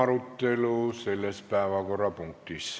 Lõpetan selle päevakorrapunkti arutelu.